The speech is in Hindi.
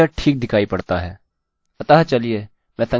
अतः चलिए मैं संक्षेप में दोहराता हूँ जो मैंने किया है मैंने नंबरnumber को 1 रखा है